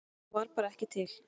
Hún var bara ekki til.